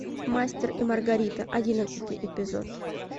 мастер и маргарита одиннадцатый эпизод